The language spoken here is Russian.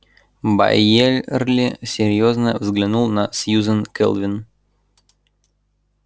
байерли серьёзно взглянул на сьюзен кэлвин